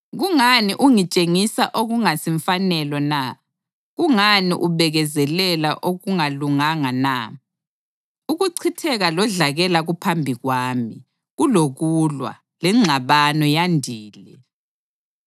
Kungani ungitshengisa okungasimfanelo na? Kungani ubekezelela okungalunganga na? Ukuchitheka lodlakela kuphambi kwami; kulokulwa, lengxabano yandile.